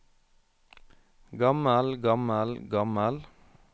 gammel gammel gammel